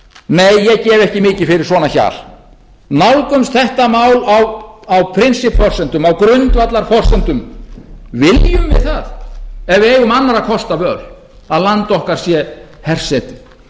nei ég gef ekki mikið fyrir svona hjal nálgumst þetta mál á prinsippforsendum á grundvallarforsendum viljum við það ef við eigum annarra kosta völ að land okkar sé hersetið